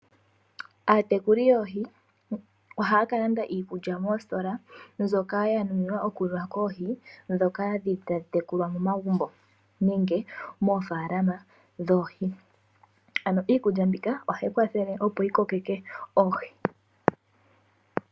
Aatekuli yoohi ohaya ka landa iikulya moostola mbyoka ya nuninwa okuliwa koohi ndhoka dhili tadhi tekulwa momagumbo nenge moofaalama dhoohi. Ano iikulya mbika ohayi kwathele opo yi kokeke oohi.